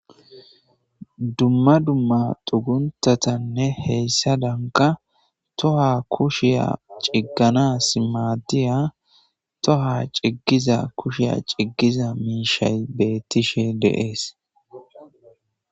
dumma dumma xuguntatanne heyssadanka toha kushiya ciggana simaadiya toha ciggiza kushiya ciggiza miishay beettishe deees